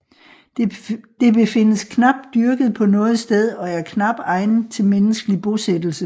Det befindes knap dyrket på noget sted og er knap egnet til menneskelig bosættelse